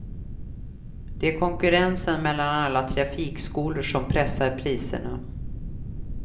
Det är konkurrensen mellan alla trafikskolor som pressar priserna.